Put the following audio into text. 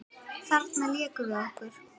Þarna lékum við okkur.